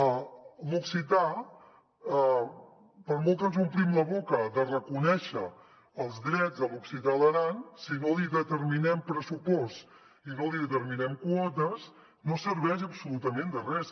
a l’occità per molt que ens omplim la boca de reconèixer els drets de l’occità a l’aran si no li determinem pres·supost i no li determinem quotes no serveix absolutament de res